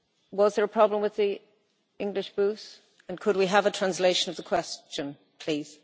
Was there a problem with the English booth and could we have a translation of the question please?